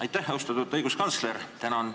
Aitäh, austatud õiguskantsler!